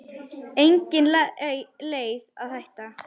Engin leið að hætta.